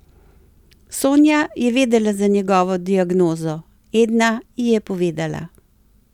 Sonja je vedela za njegovo diagnozo, Edna ji je povedala.